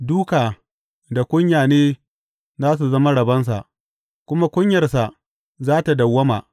Dūka da kunya ne za su zama rabonsa, kuma kunyarsa za tă dawwama.